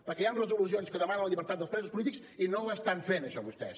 perquè hi han resolucions que demanen la llibertat dels presos polítics i no ho estan fent això vostès